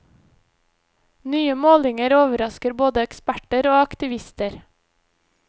Nye målinger overrasker både eksperter og aktivister.